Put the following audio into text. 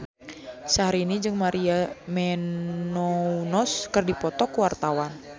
Syahrini jeung Maria Menounos keur dipoto ku wartawan